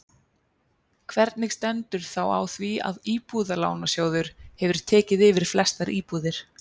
Hvernig stendur þá á því að Íbúðalánasjóður hefur tekið yfir flestar íbúðir?